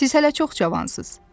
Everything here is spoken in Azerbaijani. Siz hələ çox cavansız.